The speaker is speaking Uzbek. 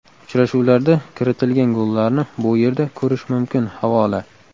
Uchrashuvlarda kiritilgan gollarni bu yerda ko‘rish mumkin havola .